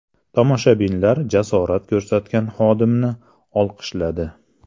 Tomoshabinlar jasorat ko‘rsatgan xodimni olqishladi.